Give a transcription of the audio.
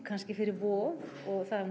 kannski fyrir Vog og það er